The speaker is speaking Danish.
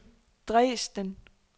Dresden